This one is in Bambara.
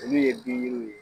Olu' ye bin yiriw ye